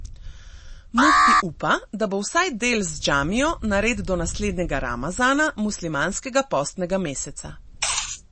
Mufti upa, da bo vsaj del z džamijo nared do naslednjega ramazana, muslimanskega postnega meseca.